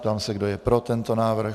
Ptám se, kdo je pro tento návrh.